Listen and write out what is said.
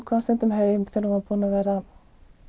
kom stundum heim þegar hún var búin að vera